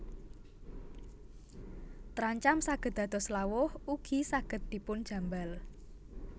Trancam saged dados lawuh ugi saged dipun jambal